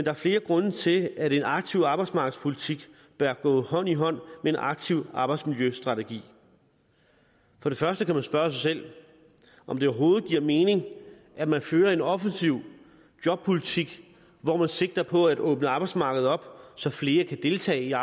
er flere grunde til at en aktiv arbejdsmarkedspolitik bør gå hånd i hånd med en aktiv arbejdsmiljøstrategi for det første kan man spørge sig selv om det overhovedet giver mening at man fører en offensiv jobpolitik hvor man sigter på at åbne arbejdsmarkedet op så flere kan deltage